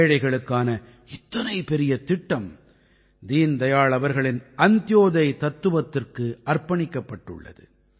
ஏழைகளுக்கான இத்தனை பெரிய திட்டம் தீன் தயாள் அவர்களின் அந்த்யோதய் தத்துவத்திற்கு அர்ப்பணிக்கப்பட்டுள்ளது